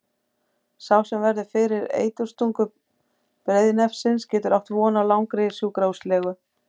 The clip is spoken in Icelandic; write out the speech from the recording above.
Sá sem verður fyrir eiturstungu breiðnefsins getur átt von á langri sjúkrahúslegu.